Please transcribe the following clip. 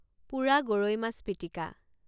পোৰা গৰৈ মাছ পিটিকা